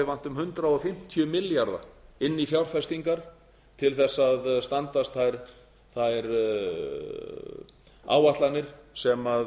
vanti um hundrað fimmtíu milljarða inn í fjárfestingar til að standast þær áætlanir sem